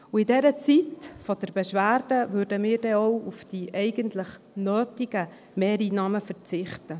Und in der Zeit der Beschwerde würden wir dann auch auf die eigentlich nötigen Mehreinnahmen verzichten.